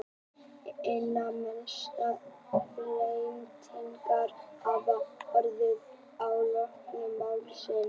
Einna mestar breytingar hafa orðið á hljóðkerfi málsins.